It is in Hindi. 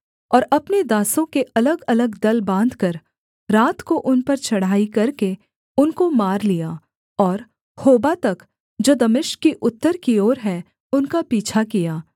और अपने दासों के अलगअलग दल बाँधकर रात को उन पर चढ़ाई करके उनको मार लिया और होबा तक जो दमिश्क की उत्तर की ओर है उनका पीछा किया